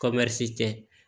tɛ